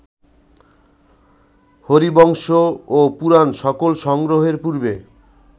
হরিবংশ ও পুরাণ সকল সংগ্রহের পূর্বে